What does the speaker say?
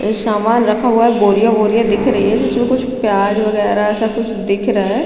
ये सामान रखा हुआ है बोरिया बोरिया दिख रही है जिसमे कुछ प्याज वगेरा ऐसा कुछ दिख रहा है।